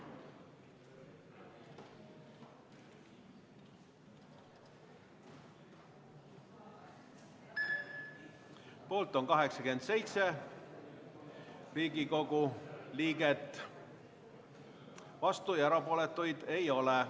Hääletustulemused Poolt on 87 Riigikogu liiget, vastuolijaid ja erapooletuid ei ole.